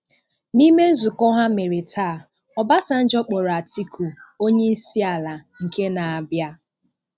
N'ime nzukọ ha mere taa, Obasanjo kpọrọ Atiku 'Onyeisiala nke na-abịa'.